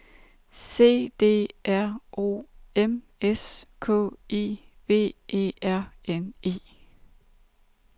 C D R O M S K I V E R N E